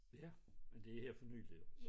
Ja men det er her for nyligt